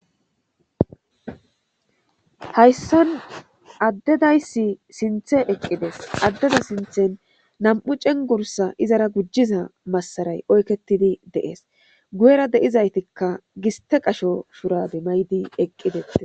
Hayssan addedaysi sinthe eqqides addeda sinthen nam7u cengursa izara gujiza massaray oyketidi deees gu7era deizaytikka giste qasho furabe maydi eqqidees